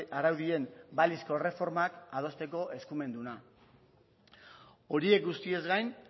araudien balizko erreformak adosteko eskumenduna horiek guztiez gain